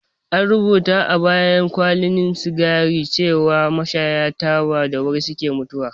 An rubuta a bayan kwalin sigari cewar mashayan taba da wuri suke mutuwa